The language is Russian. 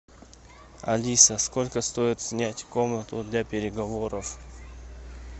алиса сколько стоит снять комнату для переговоров